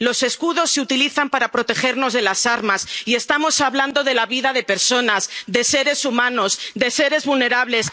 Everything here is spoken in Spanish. qué? Los escudos se utilizan para protegernos de las armas, y estamos hablando de la vida de personas, de seres humanos, de seres vulnerables.